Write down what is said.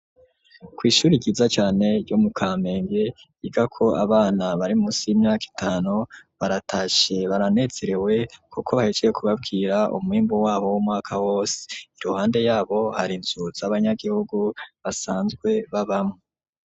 Kw'ishuri ryiza cane ,ryo mu kamenge ryiga ko abana barimusi y'imyaka itanu, baratashe baranezerewe kuko bahejeje kubabwira umwimbu wabo w'umwaka wose, iruhande yabo hari inzu abanyagihugu basanzwe babamwo.